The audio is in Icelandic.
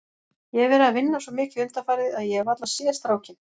Ég hef verið að vinna svo mikið undanfarið að ég hef varla séð strákinn.